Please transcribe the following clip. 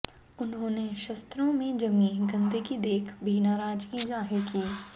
उन्होंने शस्त्रों में जमी गंदगी देख भी नाराजगी जाहिर की